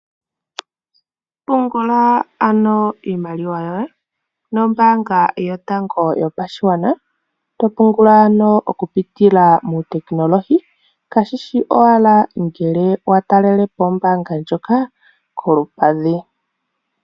Pungula ano iimaliwa yoye nombaanga yotango yopashigwana. To pungula ano okupitila muutekinolohi kashishi owala ngele wa talele po ombaanga ndjoka kolupadhi.